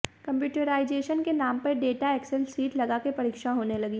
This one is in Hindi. कम्प्यूटराईजेशन के नाम पर डाटा एक्सेल सीट लगाकर परीक्षा होने लगी